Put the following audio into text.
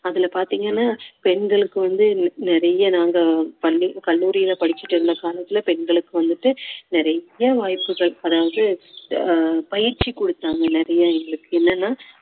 அதுல பாத்தீங்கன்னா பெண்களுக்கு வந்து நிறைய நாங்க பள்~ கல்லூரியில படிச்சிட்டு இருந்த காலத்துல பெண்களுக்கு வந்துட்டு நிறைய வாய்ப்புகள் அதாவது ஆஹ் பயிற்சி கொடுத்தாங்க நிறைய எங்களுக்கு என்னன்னா